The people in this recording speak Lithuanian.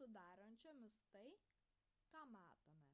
sudarančiomis tai ką matome